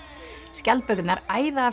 skjaldbökurnar æða af